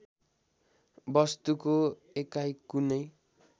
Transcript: वस्तुको एकाइ कुनै